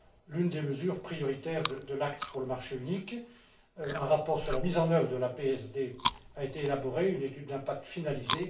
L'une des mesures prioritaires de l'acte pour le marché unique, un rapport sur la mise en œuvre de la PSD a été élaboré et une étude d'impact finalisée.